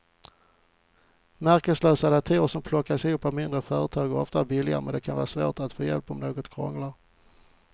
Märkeslösa datorer som plockas ihop av mindre företag är ofta billigare men det kan vara svårt att få hjälp om något krånglar.